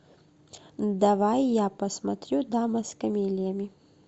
давай я посмотрю дама с камелиями